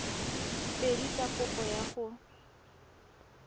pedi tsa kopo ya go